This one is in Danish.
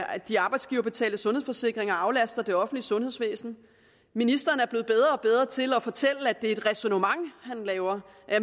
at de arbejdsgiverbetalte sundhedsforsikringer aflaster det offentlige sundhedsvæsen ministeren er blevet bedre og bedre til at fortælle at det er et ræsonnement han laver